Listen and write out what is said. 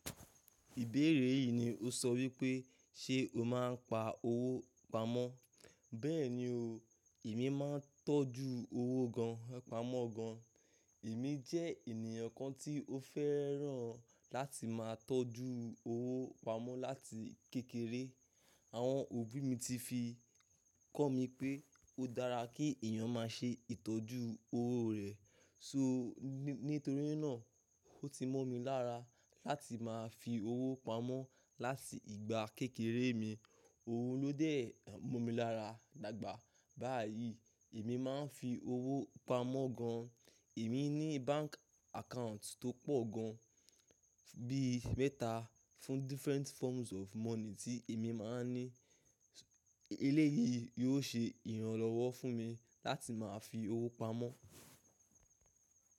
Ìbéèrè yìí ni ó sọ wípé ṣe o máa ń pa owó pamọ́. Bẹ́ẹ̀ni o, èmi máa ń tọ́jú owó gan mo ma n pamọ́ gan. Èmi jẹ́ ènìyàn kan tí ó fẹ́ràn láti máa tọ́jú owó pamọ́ láti kékeré. Àwọn òbí mi ti fi kọ́ mi pé ó dára kí èyàn má ṣe ìtọ́jú owó rẹ̀. So, nítorí náà ó ti mọ́ mi lára láti máa fi owó pamọ́ láti ìgbà kékeré mi. Oun ló dẹ̀ mọ́ mi lára dàgbà. Báyìí èmi máa ń fi owó pamọ́ gan. Èmi ní bank account tó pọ̀ gan, bí mẹ́ta fún different forms of money tí èmi máa ń ní. Eléyìí yóò ṣe ìrànlọ́wọ́ fún mi láti máa fi owó pamọ́.